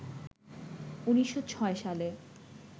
১৯০৬ সালে